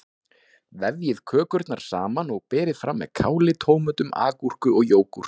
Vefjið kökurnar saman og berið fram með káli, tómötum, agúrku og jógúrt.